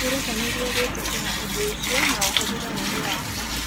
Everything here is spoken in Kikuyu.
Wĩrutanĩrie gwĩtĩkĩra ũndũ ũcio na ũhũthĩre ũũgĩ waku.